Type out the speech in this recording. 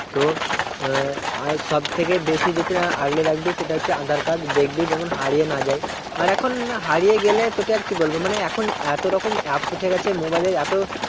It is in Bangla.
তো আহ আর সব থেকে বেশি যেটা আগলে রাখবি সেটা হচ্ছে aadhar card দেখবি যেমন হারিয়ে না যায় আর এখন হারিয়ে গেলে তোকে আর কি বলবো মানে এখন এতো রকম apps উঠে গেছে mobile এর এতো